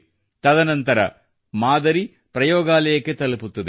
ತದನಂತರ ಮಾದರಿ ಪ್ರಯೋಗಾಲಯಕ್ಕೆ ತಲುಪುತ್ತದೆ